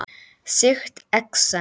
Sýkt exem